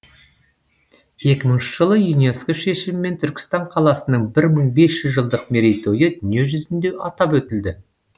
екі мыңыншы жылы юнеско шешімімен түркістан қаласының бір мың бес жүз жылдық мерейтойы дүние жүзінде атап өтілді